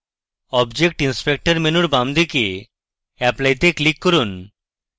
object inspector মেনুর বাম দিকে apply তে ক্লিক করুন